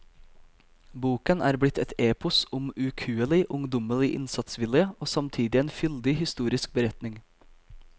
Boken er blitt et epos om ukuelig, ungdommelig innsatsvilje og samtidig en fyldig historisk beretning.